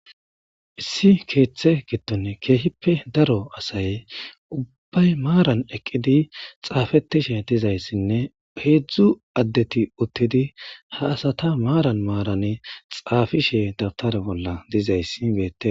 issi keeththe gidtone keehippe daro asay ubbay maaran eqqidi xaafetishe dizayssinne peedzdzu addeti uttidi ha asata maaran maarane xaafishe dabtare bolla dizayssi beette